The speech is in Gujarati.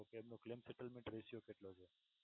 શકો કે ક્લેમ સેટલમેન્ટ રેશિયો કેટલો છે.